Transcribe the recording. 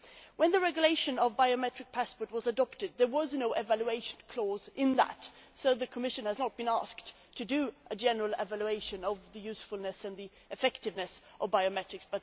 When the regulation on biometric passports was adopted there was no evaluation clause in it, so the Commission has not been asked to do a general evaluation of the usefulness and effectiveness of biometrics.